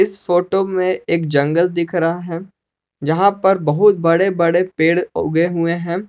इस फोटो में एक जंगल दिख रहा है जहां पर बहुत बड़े बड़े पेड़ उगे हुए हैं।